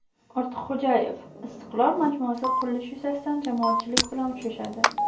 Ortiqxo‘jayev "Istiqlol" majmuasi qurilishi yuzasidan jamoatchilik bilan uchrashadi.